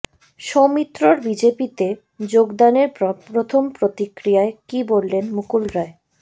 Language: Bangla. সৌমিত্রর বিজেপিতে যোগদানের পর প্রথম প্রতিক্রিয়ায় কী বললেন মুকুল রায়